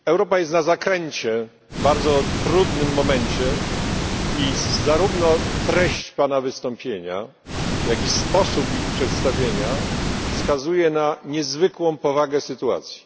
Panie Przewodniczący! Europa jest na zakręcie, w bardzo trudnym momencie, i zarówno treść pana wystąpienia, jak i sposób jego przedstawienia wskazują na niezwykłą powagę sytuacji.